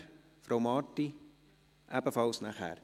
Frau Marti? – Ebenfalls nachher.